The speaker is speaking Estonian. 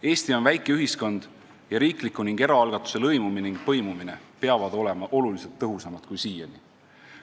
Eesti on väike ühiskond, kus riigi ja eraalgatuse lõimumine ning põimumine peavad olema märksa tõhusamad kui siiani.